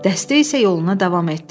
Dəstə isə yoluna davam etdi.